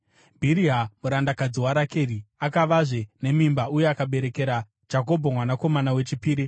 Bhiriha murandakadzi waRakeri akavazve nemimba uye akaberekera Jakobho mwanakomana wechipiri.